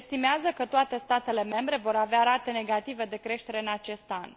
Se estimează că toate statele membre vor avea rate negative de creștere în acest an.